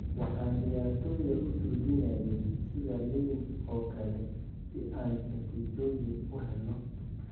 Waxaan ciyaartoyda u tuujinayay sida liinta oo kale si aan natiijooyin u helno.""